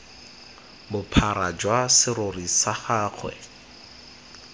bophara jwa serori sa gagwe